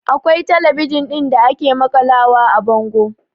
Akwai talabijin ɗin da ake maƙalawa a bango